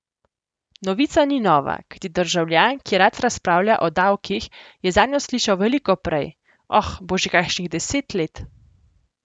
Novica ni nova, kajti državljan, ki rad razpravlja o davkih, je zanjo slišal veliko prej, oh, bo že kakšnih deset let.